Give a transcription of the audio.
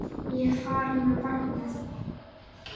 Ég er farin með barnið!